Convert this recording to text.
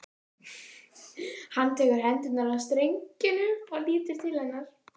Hann tekur hendurnar af strengjunum og lítur til hennar.